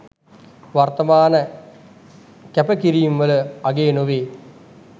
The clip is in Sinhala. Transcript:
වර්තමන කෑප කිරීම් වල අගය නොවෙ?